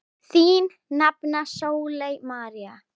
Þín nafna Sólveig María.